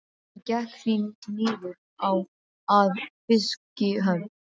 Hann gekk því niður að fiskihöfn.